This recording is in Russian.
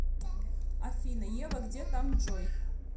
афина ева где там джой